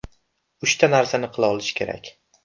Uchta narsani qila olish kerak.